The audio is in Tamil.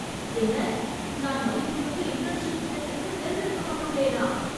என்ன, நான் மதிப்புமிக்க இன்டர்ன்ஷிப் திட்டத்திற்குத் தேர்ந்தெடுக்கப்பட்டுள்ளேனா